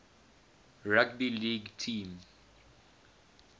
rugby league team